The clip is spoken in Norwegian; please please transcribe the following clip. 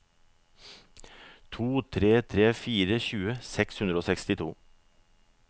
to tre tre fire tjue seks hundre og sekstito